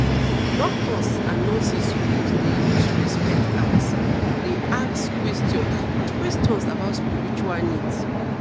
doctors and nurses suppose dey use respect ask dey ask questions questions about spiritual needs